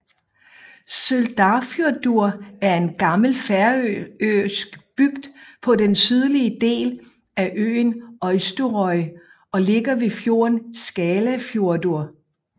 Søldarfjørður er en gammel færøsk bygd på den sydlige del af øen Eysturoy og ligger ved fjorden Skálafjørður